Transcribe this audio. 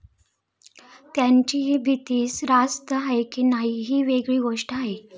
त्यांची ही भीती रास्त आहे की नाही ही वेगळी गोष्ट आहे.